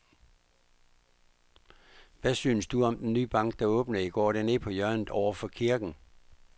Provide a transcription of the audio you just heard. Hvad synes du om den nye bank, der åbnede i går dernede på hjørnet over for kirken?